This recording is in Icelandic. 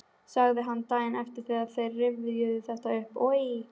sagði hann daginn eftir þegar þeir rifjuðu þetta upp: Oj!